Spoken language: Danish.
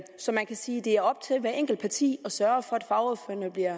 så man kan sige det er op til hver enkelt parti at sørge for